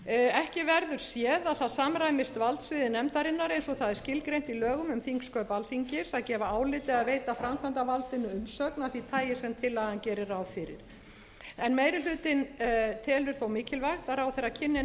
ekki verður séð að það samræmist valdsviði nefndarinnar eins og það er skilgreint í lögum um þingsköp alþingis að gefa álit eða veita framkvæmdarvaldinu umsögn af því tagi sem tillagan gerir ráð fyrir meiri hlutinn telur þó mikilvægt að ráðherra kynni